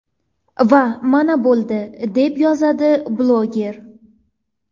Va mana, bo‘ldi…”, deb yozadi bloger.